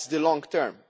That is the long term.